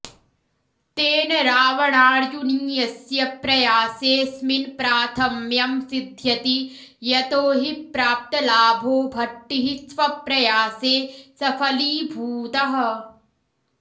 तेन रावणार्जुनीयस्य प्रयासेऽस्मिन् प्राथम्यं सिध्यति यतो हि प्राप्तलाभो भट्टिः स्वप्रयासे सफलीभूतः